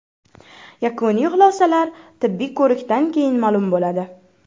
Yakuniy xulosalar tibbiy ko‘rikdan keyin ma’lum bo‘ladi.